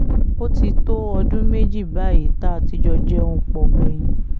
ó ti tó ọdún méjì báyìí tá a ti jọ jẹun pọ̀ gbẹ̀yìn